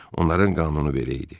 Onların qanunu belə idi.